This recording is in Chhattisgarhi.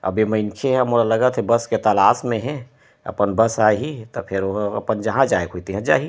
अब ए मइनखे ह मोला लगत हे बस के तलाश में हे अपन बस आहि त फेर ओहा जहाँ जाय क तिहा जाहि।